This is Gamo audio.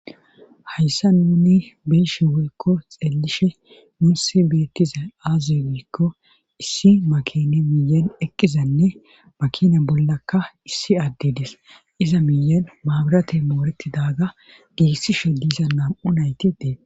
Hayssa nuni be'eshe weykko xeellishe muussi beettiza aaziwykko issi makine miyen eqqizanne makina bollakka issi addides iza miyen maabirate mooreti daaga giissishe diisa nam7u nayti dees.